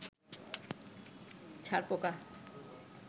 ছার পোকা